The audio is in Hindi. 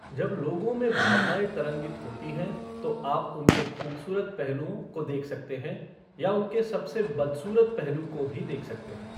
जब लोगों में भावनाएँ तरंगित होती हैं तो आप उनके खूबसूरत पहलुओं को देख सकते हैं या उनके सबसे बदसूरत पहलू को भी देख सकते हैं।